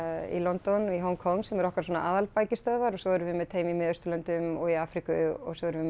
í London Hong Kong sem eru okkar svona aðalbækistöðvar og svo erum við með teymi í Miðausturlöndum og í Afríku og svo erum við